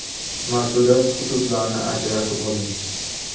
Mas’uliyat hududlarini ajratib oling.